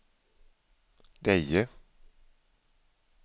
Deje